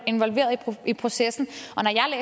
involveret i processen